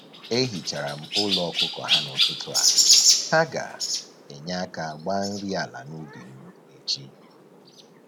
E hichara m ụlọ ọkụkọ ha n'ụtụtụ a, ha ga-enye aka gbaa nri ala n'ubi m echi